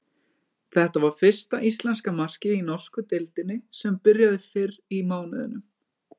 Þetta var fyrsta íslenska markið í norsku deildinni sem byrjaði fyrr í mánuðinum.